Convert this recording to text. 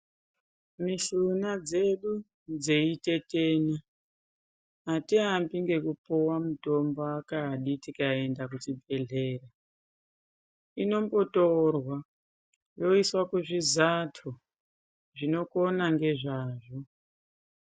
Mishuna dzedu dzeitetena atiambi ngekupuwa mitombo kani tikaenda kuchibhedhleya inombotorwa yoiswe kuzvizato zvinokona ngezvazvo.